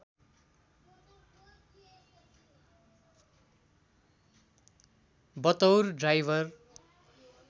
बतौर ड्राइवर